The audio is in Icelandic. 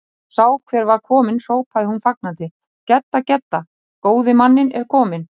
Þegar hún sá hver var kominn hrópaði hún fagnandi: Gedda, Gedda, góði manninn er kominn